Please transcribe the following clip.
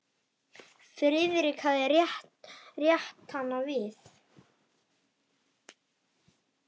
Friðrik hafði rétt hann við.